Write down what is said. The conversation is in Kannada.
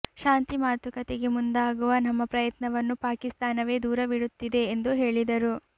ಶಾಂತಿ ಮಾತುಕತೆಗೆ ಮುಂದಾಗುವ ನಮ್ಮ ಪ್ರಯತ್ನವನ್ನು ಪಾಕಿಸ್ತಾನವೇ ದೂರವಿಡುತ್ತಿದೆ ಎಂದು ಹೇಳಿದರು